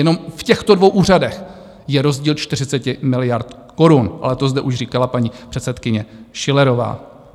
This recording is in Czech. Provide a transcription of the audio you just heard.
Jenom v těchto dvou úřadech je rozdíl 40 miliard korun, ale to zde už říkala paní předsedkyně Schillerová.